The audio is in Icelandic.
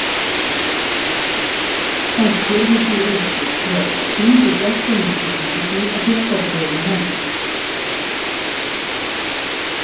Hann spurði því einskis frekar, sýndi gestinum skilríki sín og fékk þá bréfið í hendur.